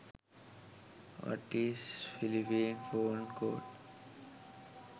what is phillipene phone code